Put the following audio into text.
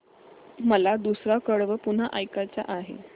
मला दुसरं कडवं पुन्हा ऐकायचं आहे